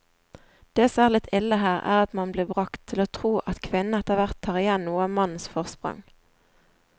Det som er litt ille her, er at man blir bragt til å tro at kvinnene etterhvert tar igjen noe av mannens forsprang.